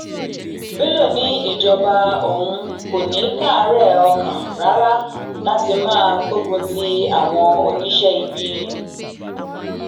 bello ní ìjọba òun kò ní í káàárẹ ọkàn rárá láti máa gbógun ti àwọn oníṣẹ ibi